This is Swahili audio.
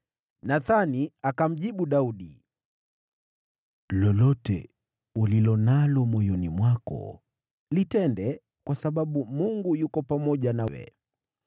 Nathani akamjibu Daudi, “Lolote ulilo nalo moyoni mwako litende, kwa maana Mungu yu pamoja nawe.”